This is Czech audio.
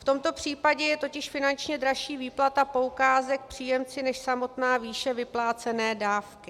V tomto případě je totiž finančně dražší výplata poukázek příjemci než samotná výše vyplácené dávky.